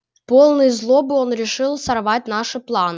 полный злобы он решил сорвать наши планы